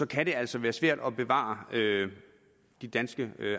kan det altså være svært at bevare de danske